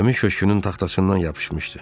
Gəmin köşgünün taxtasından yapışmışdı.